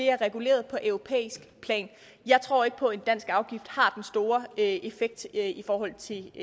er reguleret på europæisk plan jeg tror ikke på at en dansk afgift har den store effekt i forhold til